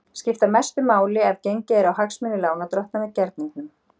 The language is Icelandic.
skipta mestu máli ef gengið er á hagsmuni lánardrottna með gerningnum.